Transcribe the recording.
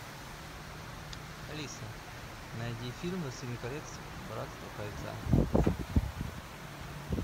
алиса найди фильм властелин колец братство кольца